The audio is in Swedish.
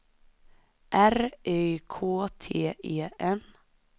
R Y K T E N